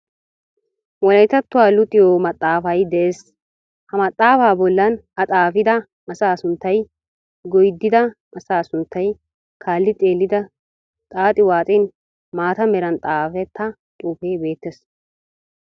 Wolayttattuwa luxiyo maxxaafay de'ees. Ha maxaafaa bollan A xaafida asaa sunttay, goydida asaa sunttay, kaalli xeellida xaaxi waaxin mata meran xaafetta xuufee beettees.